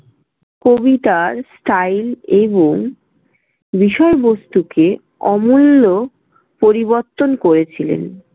কবিতার style এবং বিষয়বস্তুকে অমূল্য পরিবর্তন করেছিলেন।